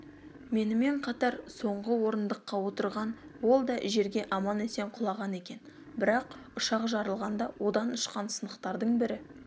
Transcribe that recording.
менімен қатар соңғы орындыққа отырған ол да жерге аман-есен құлаған екен бірақ ұшақ жарылғанда одан ұшқан сынықтардың бірі